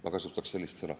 Ma kasutaksin sellist sõna.